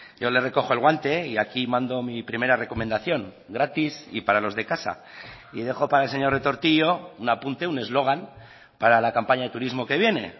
yo le recojo el guante y aquí mando mi primera recomendación gratis y para los de casa y dejo para el señor retortillo un apunte un eslogan para la campaña de turismo que viene